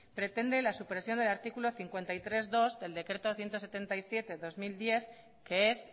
pretende la supresión del artículo cincuenta y tres punto dos del decreto ciento setenta y siete barra dos mil diez que es